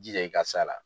Jija i ka sa la